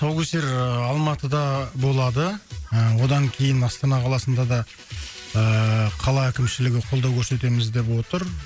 тұсаукесер ыыы алматыда болады ы одан кейін астана қаласында да ыыы қала әкімшілігі қолдау көрсетеміз деп отыр